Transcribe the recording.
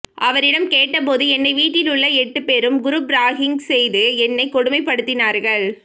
அவரிடம் கேட்டபோது என்னை வீட்டிலுள்ள எட்டு பேரும் குரூப் ராகிங் செய்து என்னை கொடுமைப் படுத்தினார்கள்